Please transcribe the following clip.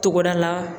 Togoda la